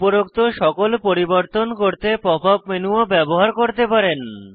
উপরোক্ত সকল পরিবর্তন করতে পপ আপ মেনু ও ব্যবহার করতে পারেন